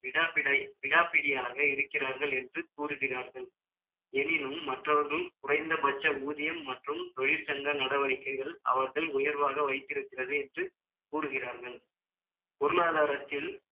விடாப்பிடியாக இருக்கிறார்கள் என்று கூறுகிறார்கள் எனினும், மற்றவர்கள் குறைந்தபட்ச ஊதியம் மற்றும் தொழிற்சங்க நடவடிக்கைகள், அவர்கள் உயர்வாக வைத்திருக்கிறது என்று, கூறுகிறார்கள் பொருளாதாரத்தில்